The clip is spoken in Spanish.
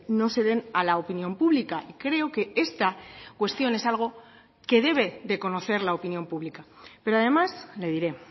no se den a la opinión pública creo que esta cuestión es algo que debe de conocer la opinión pública pero además le diré